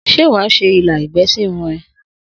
Sé wàá sè ilá egbè sirun e?